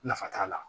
Nafa t'a la